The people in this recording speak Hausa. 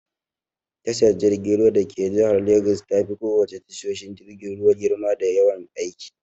Tashar jirgin ruwa dake jihar Legas tafi ko wace tashoshin jirgin ruwa girma da yawan aiki.